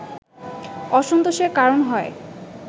অসন্তোষের কারণ হয়